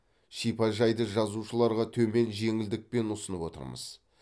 шипажайды жазушыларға төмен жеңілдікпен ұсынып отырмыз